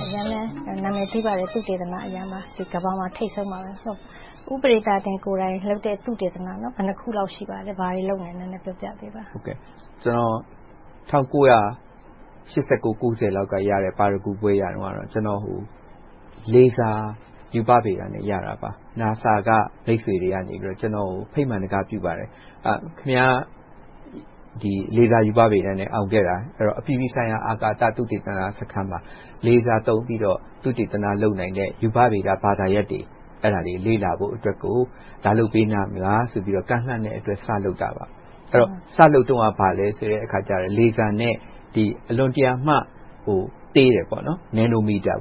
မ်းလည်း နာမည်ကြီးပါတယ်။ ကမ္ဘာမှာ ထိပ်ဆုံးမှာ။ ဦးပဒေသာတင်ကိုယ်တိုင် လုပ်တဲ့ သုတေသနတွေ ဘယ်နှစ်ခုလောက် ရှိပါလဲ။ ဘာတွေ လုပ်နေပါလဲ။ နည်းနည်းပြောပြပေးပါ။ ကျနော် ၁၉၈၉-၉၀ လောက်က ရတဲ့ ပါရဂူဘွဲ့ရတုန်းက လေဆာရူပဗေဒနဲ့ ရတာပါ။ NASA က မိတ်ဆွေတွေက ကျနော့်ကို ဖိတ်ကြားပါတယ်. ခင်များ လေဆာရူပဗေဒနဲ့ အောင်ခဲ့တာ၊ အပြည်ပြည်ဆိုင်ရာ အာကာသ သုတေသနဌာနမှာ လေဆာသုံးပြီးတော့ သုတေသန လုပ်နိုင်တဲ့ ရူပဗေဒဘာသာရပ်တွေ လေ့လာဖို့အတွက်ကို လာလုပ်ပေးနိုင်မလားဆိုပြီး ကမ်းလှမ်းတဲ့အတွက် စလုပ်တာပါ။ စလုပ်တုန်းက လေဆာနဲ့ အလွန်တရာမှသေးတဲ့ Nanometer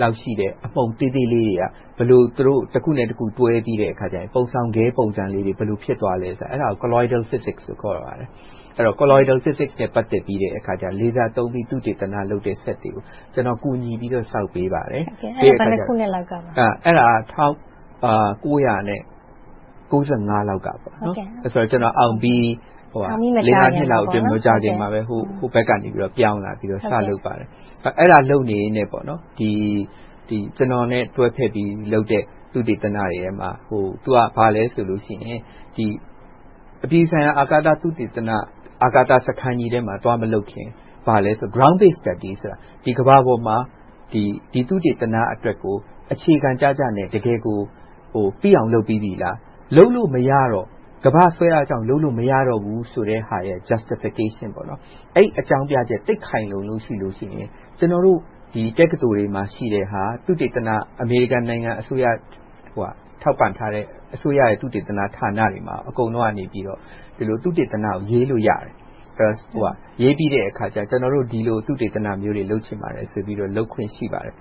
လောက်ရှိတဲ့ အမှုန်သေးသေးလေးတွေက ဘယ်လို သူတို့ တခုနဲ့တခု ကွဲသွားပြီးတဲ့အခါ ပုံဆောင်ခဲ့ပုံသဏ္ဍာန်လေးတွေ ဘယ်လို ဖြစ်သွားလဲဆိုတာကို Colleteral physics လို့ ခေါ်ပါတယ်။ Colleteral physics နဲ့ ပြီးတဲ့အခါကြတော့ လေဆာသုံးပြီး သုတေသနလုပ်တဲ့ စက်တွေကို ကျနော် ကူညီပြီးတော့ ဆောက်ပေးပါတယ်။ အဲဒါ ဘယ်နှစ်ခုနှစ်လောက်ကပါလဲ။ ၁၉၉၅ လောက်ကပါ။ ကျနော်အောင်ပြီး ငါးနှစ်လောက်အကြာမှာ။ ဟိုဘက်ကနေ ပြောင်းလာပြီးတော့ စလုပ်ပါတယ်။ အဲဒါ လုပ်နေရင်နဲ့ ကျနော်နဲ့ တွဲဘက်ပြီးလုပ်တဲ့ သုတေသနတွေထဲမှာ အပြည်ပြည်ဆိုင်ရာ အာကာသ သုတေသနစခန်းကြီးထဲမှာ သွားမလုပ်ခင်၊ Groundbase.. ဆိုတာ ဒီကမ္ဘာပေါ်မှာ သုတေသနအတွက်ကို အခြေခံကျကျနဲ့ တကယ်ကို ပြီးအောင်လုပ်ပြီးပြီလား။ လုပ်လို့မရတော့ ကမ္ဘာ့ဆွဲအားကြောင့် လုပ်လို့မရတာက Justification အဲဒီအကြောင်းပြချက် သိပ်ခိုင်လုံလို့ရှိရင် ကျနော်တို့ တက္ကသိုလ်တွေဆီမှာ ရှိတဲ့ဟာ အမေရိကန်နိုင်ငံအစိုးရက ထောက်ပံ့ထားတဲ့ အစိုးရရဲ့ သုတေသနဌာနတွေမှာ ဒီလို သုတေသနကို ရေးလို့ရတယ်။ ရေးပြီးတဲ့အခါ ကျနော်တို့ ဒီလို သုတေသနတွေ လုပ်ချင်ပါတယ်ဆိုပြီး လုပ်ခွင့်ရှိပါတယ်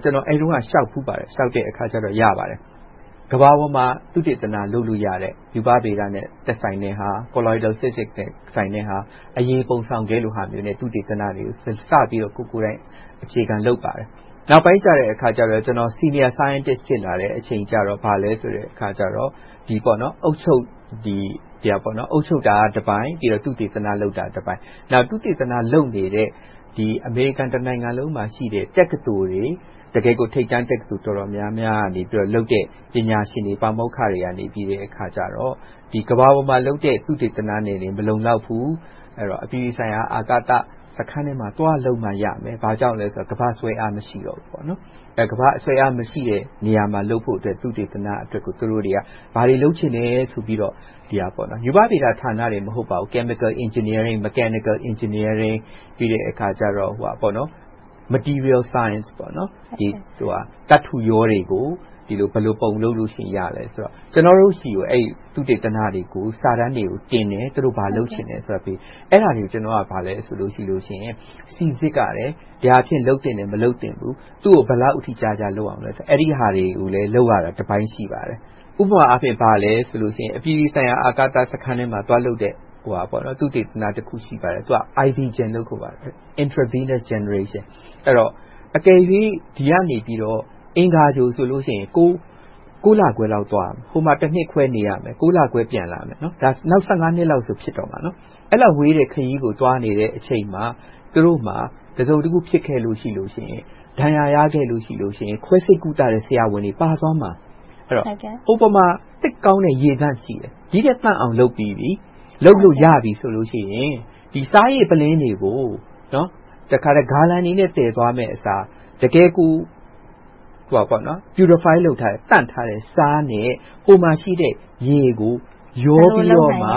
။ ကျနော် အဲဒီတုန်းက လျှောက်ဖူးပါတယ်။ လျှောက်တဲ့အခါ ရပါတယ်။ ကမ္ဘာပေါ်မှာ သုတေသန လုပ်လို့ရတဲ့ ရူပဗေဒနဲ့ သက်ဆိုင်တဲ့ဟာ Colleteral physics နဲ့ သက်ဆိုင်တဲ့ဟာ အရည်ပုံဆောင်ခဲ့လိုဟာနဲ့ သုတေသနတွေ စပြီးတော့ ကိုယ်ကိုယ်တိုင် အခြေခံလုပ်ပါတယ်။ နောက်ပိုင်းကြတော့ ကျနော် Senior Scientist ဖြစ်လာတဲ့အခါ အုပ်ချုပ်တာကတပိုင်း၊ သုတေသနလုပ်တာတပိုင်း။ သုတေသန လုပ်နေတဲ့ အမေရိကန်တနိုင်ငံလုံးမှာရှိတဲ့ တက္ကသိုလ်တွေ ထိပ်တန်းတက္ကသိုလ်တွေက ပညာရှင်တွေ၊ ပါမောက္ခတွေက ကမ္ဘာပေါ်မှာလုပ်တဲ့ သုတေသနတွေနဲ့ မလုံလောက်ဘူး။ အပြည်ပြည်ဆိုင်ရာ စခန်းထဲမှာသွားပြီးလုပ်မှရမယ်။ ဘာကြောင့်လဲဆိုတော့ ကမ္ဘာ့ဆွဲအား မရှိဘူး။ ကမ္ဘာ့ဆွဲအား မရှိတဲ့နေရာမှာလုပ်ဖို့ သုတေသနအသစ်ကို ဘာတွေလုပ်ချင်တယ်လို့ ပြောတယ်။ ရူပဗေဒဌာနတင် မဟုတ်ပါဘူး။ Chemical Engineering, Mechinical Engineering ပြီးတဲ့အခါကြတော့ Material Science သတ္တုရောတွေကို ဘယ်လိုလုပ်ရင်ရတယ် - ကျနော်တို့ဆီကို အဲဒီ သုတေသန စာတမ်းတွေတင်ပြီး သူတို့ ဘာလုပ်ချင်လဲဆိုတာကို ပြောတယ်။ အဲဒါတွေကို ကျနော်က စီစစ်ရတယ်။ သွားလုပ်သင့်တယ်၊ မလုပ်သင့်ဘူး။ ဘယ်လောက်အထိကြာကြာ လုပ်သင့်တယ်ဆိုတာတွေကို လုပ်ရတာ တပိုင်းရှိတယ်။ ဥပမာအားဖြင့် ဘာလဲဆိုရင် အပြည်ပြည်ဆိုင်ရာ အာကာသစခန်းထဲမှာ သွားလုပ်တဲ့ သုတေသနတခု ရှိပါတယ်… အကယ်၍ ဒီကနေ အင်္ဂါဂြိုလ်ဆိုရင် ကိုးလခွဲသွားရမယ်။ ဟိုမှာ တနှစ်ခွဲ နေရမယ်။ ကိုးလခွဲ ပြန်လာမယ်။ နောက် ဆယ့်ငါးနှစ်လောက်ဆို ဖြစ်တော့မယ်။ အဲဒီလောက်ဝေးတဲ့ ခရီးကို သွားနေတဲ့အချိန်မှာ သူတို့မှာ တစုံတခု ဖြစ်ခဲ့လို့ရှိရင် ဒဏ်ရာရခဲ့လို့ရှိရင် ခွဲစိတ်ကုသတဲ့ ဆရာဝန်တွေ ပါသွားမှာ။ ဟိုမှုာ သိပ်ကောင်းတဲ့ ရေသန့်ရှိတယ်။ ဒီထက်သန့်အောင်လုပ်ပြီးပြီ။ လုပ်လို့ရပြီဆိုလို့ရှိရင် ဒီဆားရည်ပုလင်းတွေကို ဂါလံတွေနဲ့ သယ်သွားမယ့်အစား တကယ်ကို Purified လုပ်ထားတဲ့ သန့်ထားတဲ့ ဆားနဲ့ ဟိုမှာရှိတဲ့ ရေကို ရောပြီးမှ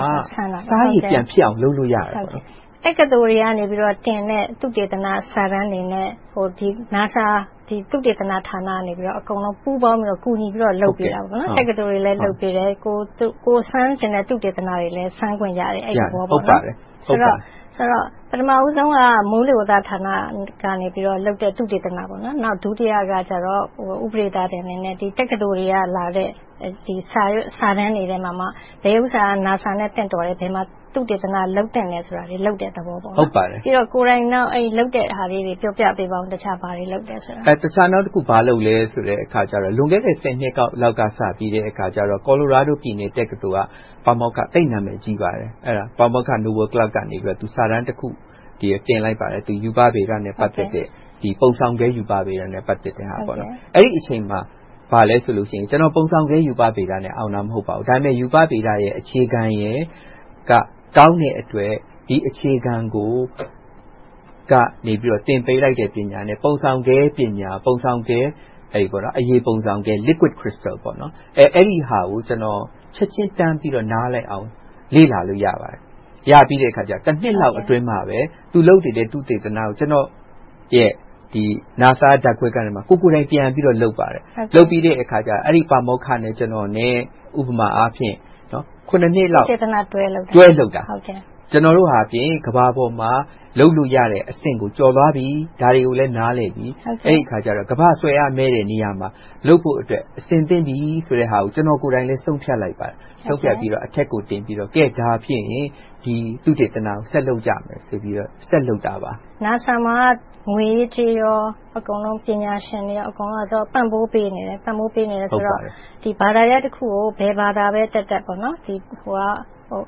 ဆားရည်ပြန်ဖြစ်အောင် လုပ်လို့ရတယ်။ တက္ကသိုလ်တွေက တင်တဲ့ သုတေသနစာတမ်းတွေနဲ့ NASA သုတေသနဌာနကနေ ပူးပေါင်းပြီး၊ ကူညီပြီး လုပ်ပေးတာ။ တက္ကသိုလ်တွေကိုလည်း လုပ်ပေးတယ်။ ကိုယ်စမ်းချင်တာတွေလည်း စမ်းလို့ရတယ်။ ဆိုတော့ ပထမဦးဆုံးက မိုးလေဝသဌာနကလုပ်တဲ့ သုတေသန။ ဒုတိယက တက္ကသိုလ်တွေက တင်သွင်းလာတဲ့ စာတမ်းတွေထဲမှာမှ ဘယ်စာတမ်းက NASA နဲ့ သင့်တော်တယ်။ ဘယ်မှာ သုတေသန လုပ်သင့်တယ်ဆိုတာကို လုပ်ပေးတဲ့သဘော။ ကိုယ်တိုင်တော့ လုပ်တဲ့ဟာလေးတွေ ပြောပြပေးပါအုံး။ တခြားဘာတွေ လုပ်တယ်ဆိုတာ။ တခြားနောက်တခု ဘာလုပ်လဲဆိုတော့ လွန်ခဲ့တဲ့ ဆယ်နှစ်လောက်စပြီး Colorado ပြည်နယ် တက္ကသိုလ်က ပါမောက္ခ သိပ်နာမည်ကြီးပါတယ်။ ပါမောက္ခ Noel Clark က စာတမ်းတခု တင်လိုက်ပါတယ်။ ပုံဆောင်ခဲ ရူပဗေဒနဲ့ ပတ်သက်တယ်။ အဲဒီအချိန်မှာ ဘာလဲဆိုတော့ ကျနော် ပုံဆောင်ခဲရူပဗေဒနဲ့ အောင်တာ မဟုတ်ပါဘူး။ ဒါပေမဲ့ ရူပဗေဒနဲ့ အခြေခံ ကောင်းတဲ့အတွက် ဒီအခြေခံကို သင်ပေးလိုက်တဲ့ပညာနဲ့ ပုံဆောင်ခဲပညာ၊ အရည်ပုံဆောင်ခဲကို ချက်ချင်းနားလည်အောင် လေ့လာလို့ရပါတယ်။ ရပြီးလို့ တနှစ်လောက်အတွင်းမှာ သူလုပ်နေတဲ့ သူ့ သုတေသနကို ကျနော့်ရဲ့ NASA ဓါတ်ခွဲခန်းထဲမှာ ကိုယ်ကိုယ်တိုင်ပြန်ပြီး လုပ်ပါတယ်။ လုပ်ပြီးတဲ့အခါ အဲဒီ ပါမောက္ခနဲ့ ကျနော်နဲ့ ဥပမာအားဖြင့် ခုနှစ်လောက် သုတေသနတွဲလုပ်တာ ကျနော်တို့ဟာ ကမ္ဘာပေါ်မှာ လုပ်လို့ရတဲ့အဆင့်ကို ကျော်သွားပြီ။ ဒါတွေကိုလည်း နားလည်ပြီ။ အဲဒီအခါကြတော့ ကမ္ဘာ့ဆွဲအားနည်းတဲ့ နေရာမှာ လုပ်ဖို့အတွက် အဆင်သင့် ဖြစ်ပြီးဆိုတာကို ကျနော်ကိုယ်တိုင်လည်း ဆုံးဖြတ်လိုက်ပါတယ်။ အထက်ကိုတင်ပြပြီး ဒီသုတေသနကို ဆက်လုပ်ကြမယ်ဆိုပြီး ဆက်လုပ်တာပါ။ NASA မှာက ငွေရေးကြေးရေး၊ ပညာရှင် အကုန်လုံး ပံ့ပိုးပေးနေတယ်ဆိုတော့ ဒီဘာသာရပ်တခုကို ဘယ်ဘာသာပဲတတ်တတ်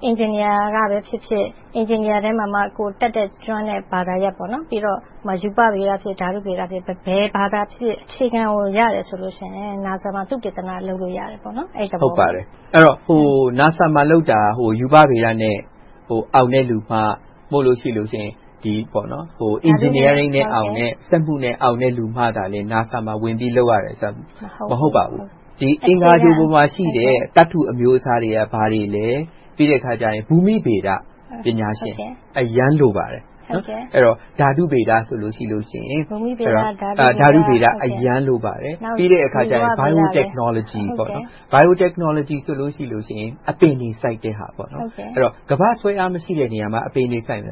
အင်ဂျင်နီယာကဖြစ်ဖြစ်၊ ရူပဗေဒ၊ ဓာတုဗေဒဖြစ်ဖြစ် ဘယ်ဘာသာပဲဖြစ်ဖြစ် အခြေခံကို ရတယ်ဆိုရင် NASA မှာ သုတေသန လုပ်လို့ရတယ်ပေါ့။ NASA မှာ လုပ်တာ ရူပဗေဒနဲ့ အောင်တဲ့လူမှ။ နို့မို့ရှိရင် အင်ဂျင်နီယာနဲ့ အောင်တဲ့လူမှ၊ စက်မှုနဲ့ အောင်တဲ့လူမှ NASA မှာ ဝင်ပြီး လုပ်ရတယ်ဆိုတာ မဟုတ်ပါဘူး။ အင်္ဂါဂြိုလ်မှာရှိတဲ့ သတ္တုအမျိုးအစားတွေက ဘာတွေလဲ။ ပြီးတော့ ဘူမိဗေဒ ပညာရှင်တွေ အရမ်းလိုပါတယ်။ ဓါတုဗေဒဆိုလို့ရှိရင် အရမ်းလိုပါတယ်။ နောက်ပြီး Biotechnology ဆိုလို့ရှိရင် အပင်တွေ စိုက်တဲ့ဟာပေါ့။ ကမ္ဘာ့ဆွဲအားမရှိတဲ့နေရာမှာ အပင်တွေ ဘယ်လိ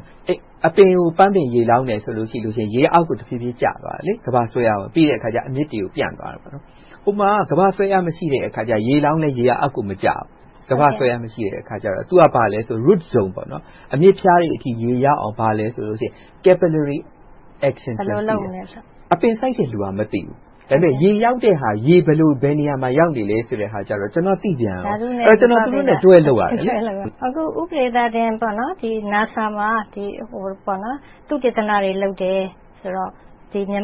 ုစိုက်မလဲ။ အပင်ကို ပန်းပင်ရေလောင်းတယ်ဆိုရင် ရေက အောက်ကိုတဖြည်းဖြည်း ကျသွားတယ်။ ကမ္ဘာ့ဆွဲအားကြောင့် ပြီးတဲ့အခါ အမြစ်တွေကို ပျံ့သွားတယ်။ ဟိုမှာက ကမ္ဘာ့ဆွဲအား မရှိတဲ့အခါကြတော့ ရေလောင်းလဲ အောက်ကို မကျသွားဘူး။ ကမ္ဘာ့ဆွဲအား မရှိတဲ့အခါကြတော့ သူက ဘာလဲဆိုတော့ Root Zone အမြစ်ဖျားတွေအထိ ရေရအောင် ဘာလဲဆိုတော့ အပင်စိုက်တဲ့လူက မသိဘူး။ ဒါပေမဲ့ ရေရောက်တဲ့အခါ ရေ ဘယ်နေရာမှာ ရောက်နေတဲ့ဟာမျိုးကြတော့ ကျနော် သိပြန်ကော။ ဒါကြောင့် ကျနော် သူတို့နဲ့ တွဲလုပ်ရတယ်။ ဦးပဒေသာတင် အခု NASA မှာ သုတေသနတွေ လုပ်တယ်ဆိုတော့ ကိုယ့်လုပ်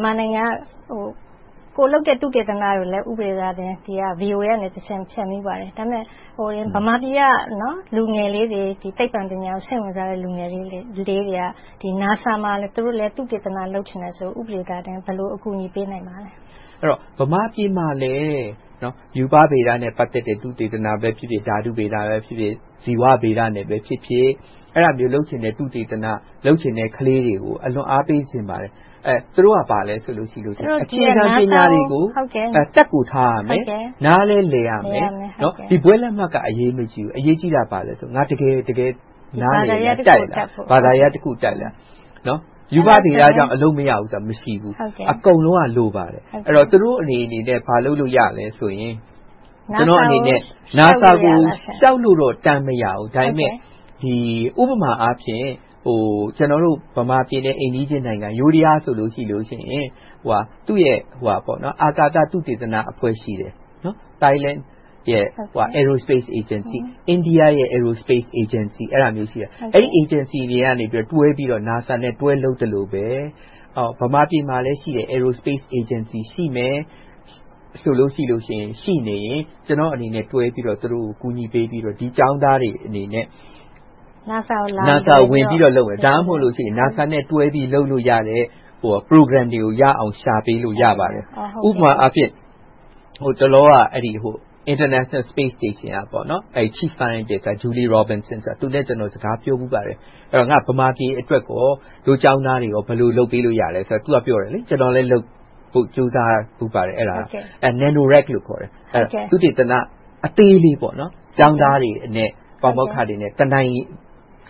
တဲ့ သုတေသနကိုလည်း VOA ကနေတဆင့် လွှင့်ဖူးပါတယ်။ ဒါပေမဲ့ ဗမာပြည်က လူငယ်လေးတွေ၊ ဒီ သိပ္ပံပညာကို စိတ်ဝင်စားတဲ့ လူငယ်လေးတွေက သူတို့လည်း NASA မှာ သုတေသန လုပ်ချင်တယ်ဆိုရင် ဦးပဒေသာတင် ဘယ်လို အကူအညီပေးနိုင်မလဲ။ ဗမာပြည်မှာလည်း ရူပဗေဒနဲ့ ပတ်သက်တဲ့ ဥပဒေဖြစ်ဖြစ်၊ ဓါတုဗေဒပဲဖြစ်ဖြစ်၊ ဇီဝဗေဒနဲ့ဖြစ်ဖြစ် အဲဒါမျိုး လုပ်ချင်တဲ့ သုတေသန လုပ်ချင်တဲ့ ကလေးတွေကို ကျနော် အားပေးချင်ပါတယ်။ သူတို့က အခြေခံပညာတွေကို တတ်ကိုထားရမယ်။ နားလည်း လည်ရမယ်။ ဘွဲ့လက်မှတ်က အရေးမကြီးဘူး။ အရေးကြီးတာ ဘာလဲဆိုရင် ငါ တကယ် နားလည်တတ်တယ်။ ရူပဗေဒကြောင့် အလုပ်မရဘူးဆိုတာ မရှိဘူး။ အကုန်လုံးက လိုပါတယ်။ ကျနော့်အနေနဲ့ ဘာလုပ်လို့ရလဲဆိုရင် ကျနော့်အနေနဲ့ NASA ကို တန်းလျှောက်လို့ မရနိုင်ဘူး။ ဥပမာအားဖြင့် ကျနော်တို့ အိမ်နီးချင်းနိုင်ငံ ယိုဒယားဆိုလို့ရှိရင် သူ့ရဲ့ အာဏာသ သုတေသနအဖွဲ့ ရှိတယ်။ Thailand’s Aerospace Agency, အိန္ဒိယ Aerospace အေဂျင်စီ အဲဒါမျိုးတွေဆီက။ အဲဒီ အေဂျင်ဆီတွေက တွဲလုပ်သလိုပဲ။ ဗမာပြည်မှာလည်း Aerospace Agecny ရှိမယ်။ ဆိုလို့ရှိရင် ရှိနေရင်၊ ကျနော်အနေနဲ့ တွဲပြီးတော့ သူတို့ကို ကူညီပေးပြီးတော့ ဒီကျောင်းသားအနေနဲ့ NASA ကို ဝင်ပြီးတော့ လုပ်မယ်။ ဒါမှ မဟုတ်သေးရင် NASA နဲ့ တွဲပြီး လုပ်လို့ရတယ့် Program တွေကို ရအောင် ရှာပေးလို့ ရပါတယ်။ ဥပမာအားဖြင့် ဟိုတလောက International Space Station က Chief Scientist Julie Robinson နဲ့ စကားပြောဖူးပါတယ်။ ငါ့ ဗမာပြည်အတွက်ကော၊ ဒို့ကျောင်းသားတွေအတွက် ဘယ်လို လုပ်ပေးရမလဲဆိုတော့ သူက ကျမလည်း ကြိုးစားပေးနေပါတယ်။ သုတေသန အသေးလေး ကျောင်းသားတွေနဲ့ ပါမောက္ခတွေနဲ့ တနိုင်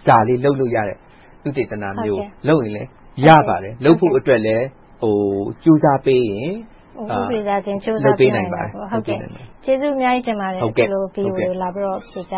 စာလေး လုပ်လို့ ရပါတယ်။ လုပ်ဖို့အတွက်လဲ ကြိုးစားပေးရင် လုပ်ပေးနိုင်ပါတယ်။ ကျေးဇူးအများကြီးတင်ပါတယ်။ ဒီကိုလာပြီးတော့ ဖြေကြာ